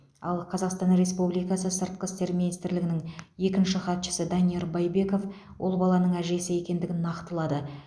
ал қазақстан республикасы сыртқы істер министрлігінің екінші хатшысы данияр байбеков ол баланың әжесі екендігін нақтылады